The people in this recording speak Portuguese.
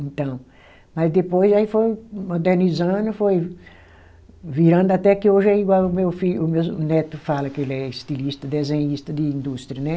Então, mas depois aí foi modernizando, foi virando até que hoje é igual o meu filho, o meus neto fala que ele é estilista, desenhista de indústria, né?